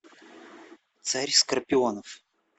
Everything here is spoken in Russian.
царь скорпионов